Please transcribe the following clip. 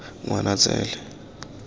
ngwanatsele